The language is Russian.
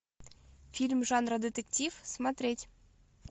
фильм жанра детектив смотреть